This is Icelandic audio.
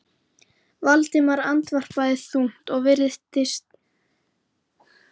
Valdimar andvarpaði þungt og virti Bóas fyrir sér.